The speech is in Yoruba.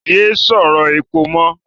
Yé sọ̀rọ̀ èpè mọ́!